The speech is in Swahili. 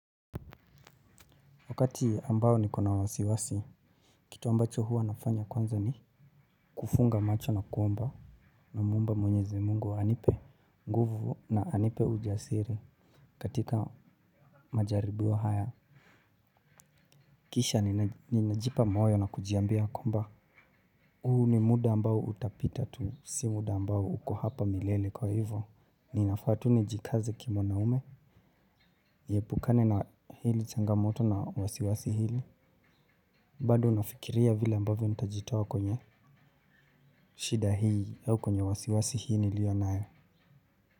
Wakati ambao nikona wasiwasi, kitu ambacho hua nafanya kwanza ni kufunga macho na kuomba namuomba mwenyezi Mungu anipe, nguvu na anipe ujasiri katika majaribio haya. Kisha, ninajipa moyo na kujiambia kwamba, uu ni muda ambao utapita tu. Si muda ambao uko hapa milele kwa hivyo. Ninafaa tu nijikaze kimwanaume, niepukane na hili changamoto na wasiwasi hili. Bado nafikiria vile ambavyo nitajitoa kwenye, shida hii au kwenye wasiwasi hii nilionayo.